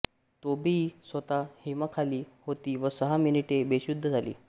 Tabei स्वतः हिमाखाली होती व सहा मिनिटे बेशुद्ध झाली